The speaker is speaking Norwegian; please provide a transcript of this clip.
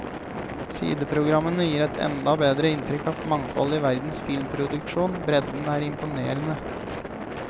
Sideprogrammene gir et enda bredere inntrykk av mangfoldet i verdens filmproduksjon, bredden er imponerende.